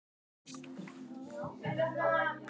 Þetta var að þróast uppí hávaðarifrildi.